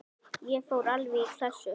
Ég fór alveg í klessu.